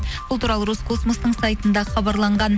бұл туралы роскосмостың сайтында хабарланған